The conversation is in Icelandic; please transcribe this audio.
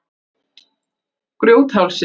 Grjóthálsi